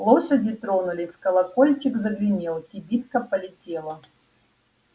лошади тронулись колокольчик загремел кибитка полетела